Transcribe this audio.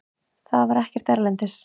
Það var ekkert erlendis.